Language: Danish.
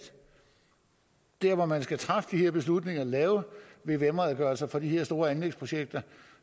der hvor man skal træffe de beslutninger lave vvm redegørelser for de her store anlægsprojekter